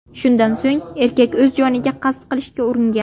Shundan so‘ng erkak o‘z joniga qasd qilishga uringan.